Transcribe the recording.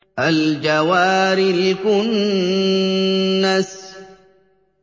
الْجَوَارِ الْكُنَّسِ